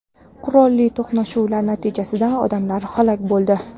qurolli to‘qnashuvlar natijasida odamlar halok bo‘ldi.